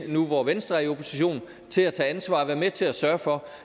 nu hvor venstre er i opposition til at tage ansvar og være med til at sørge for